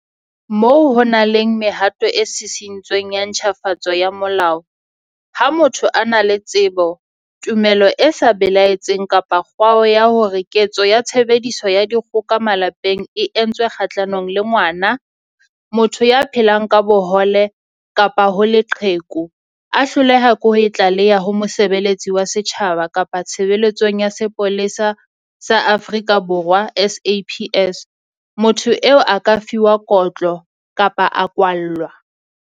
Moo ho nang le mehato e sisi-ntsweng ya ntjhafatso ya Molao, ha motho a na le tsebo, tumelo e sa belaetseng kapa kgwao ya hore ketso ya tshebediso ya dikgoka malapeng e entswe kgahlanong le ngwana, motho ya phelang ka bohole kapa ho leqheku, mme a hloleha ho e tlaleha ho mosebelletsi wa setjhaba kapa Tshebeletsong ya Sepolesa sa Afrika Borwa, SAPS, motho eo a ka fuwa kotlo kapa a kwallwa.